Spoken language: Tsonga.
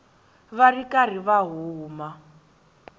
va ri karhi va huma